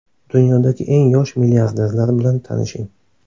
Dunyodagi eng yosh milliarderlar bilan tanishing.